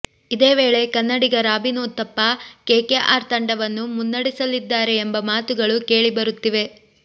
ಇದೇವೇಳೆ ಕನ್ನಡಿಗ Robin Uthappa KKR ತಂಡವನ್ನು ಮುನ್ನಡೆಸಲಿದ್ದಾರೆ ಎಂಬ ಮಾತುಗಳು ಕೇಳಿ ಬರುತ್ತಿವೆ